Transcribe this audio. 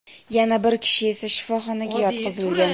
yana bir kishi esa shifoxonaga yotqizilgan.